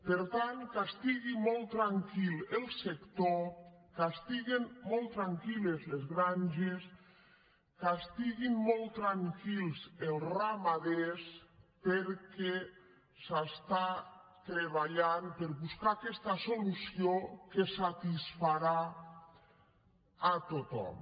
per tant que estigui molt tranquil el sector que estiguen molt tranquil·les les granges que estiguin molt tranquils els ramaders perquè s’està treballant per buscar aquesta solució que satisfarà a tothom